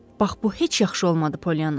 Bax bu heç yaxşı olmadı, Polyana.